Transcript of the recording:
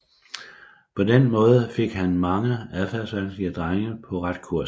På den måde fik han mange adfærdsvanskelige drenge på ret kurs